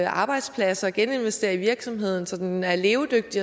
arbejdsplads og geninvestere i virksomheden så den er levedygtig